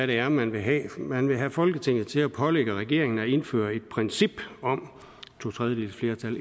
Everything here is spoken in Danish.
det er man vil have man vil have folketinget til at pålægge regeringen at indføre et princip om to tredjedeles flertal